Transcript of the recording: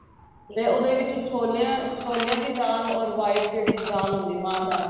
ਤੇ ਉਹਦੇ ਵਿੱਚ ਛੋਲਿਆਂ ਛੋਲਿਆਂ ਦੀ ਦਾਲ or white ਜਿਹੜੀ ਦਾਲ ਹੁੰਦੀ ਏ ਮਾਂ ਦੀ ਦਾਲ